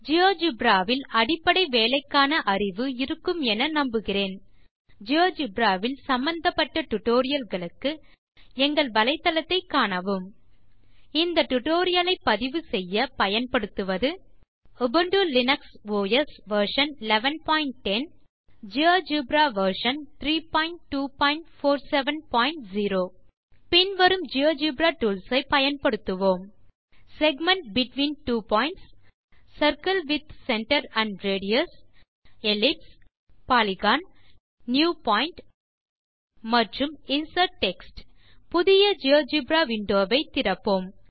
GeoGebra வில் அடிப்படை வேலைக்கான அறிவு இருக்குமென நம்புகிறேன் ஜியோஜெப்ரா வில் சம்பந்தப்பட்ட டியூட்டோரியல் களுக்கு எங்கள் வலைத்தளத்தை காணவும் இந்த டியூட்டோரியல் லை பதிவுசெய்ய பயன் படுவது Ubuntu Linux OS version 1110 GeoGebra version 32470 பின் வரும் ஜியோஜெப்ரா டூல்ஸ் ஐ பயன்படுத்துவோம் segment between two points circle with centre and radius ellipse polygon new point மற்றும் இன்சர்ட் டெக்ஸ்ட் புதிய ஜியோஜெப்ரா விண்டோ வை திறப்போம்